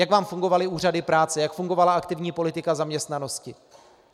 Jak vám fungovaly úřady práce, jak fungovala aktivní politika zaměstnanosti?